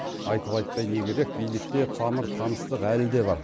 айтып айтпай не керек билікте тамыр таныстық әлі де бар